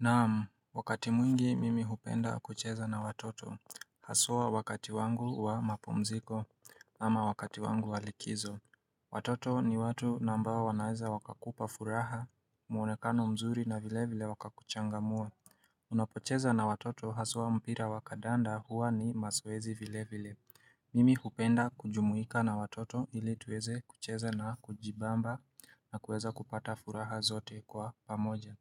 Naam, wakati mwingi mimi hupenda kucheza na watoto. Haswa wakati wangu wa mapumziko ama wakati wangu wa likizo. Watoto ni watu na ambao wanaeza wakakupa furaha, mwonekano mzuri na vile vile wakakuchangamua. Unapocheza na watoto haswa mpira wakandanda huwa ni mazoezi vile vile. Mimi hupenda kujumuika na watoto ili tuweze kucheza na kujibamba nakuweza kupata furaha zote kwa pamoja.